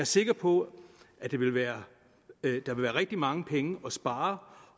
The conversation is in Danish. sikker på at der vil være rigtig mange penge at spare